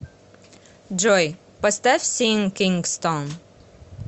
джой поставь син кингстон